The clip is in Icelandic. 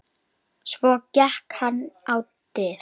Svo gekk hann á dyr.